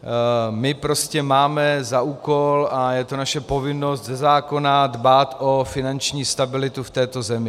My prostě máme za úkol, a je to naše povinnost ze zákona, dbát o finanční stabilitu v této zemi.